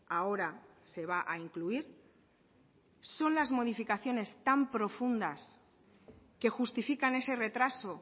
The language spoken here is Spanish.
ahora se va a incluir son las modificaciones tan profundas que justifican ese retraso